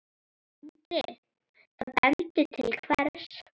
Andri: Það bendir til hvers?